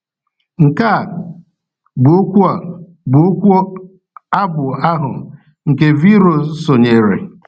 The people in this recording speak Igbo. Nke a bụ okwu a bụ okwu abụ ahụ, nke V. Rose so nyere.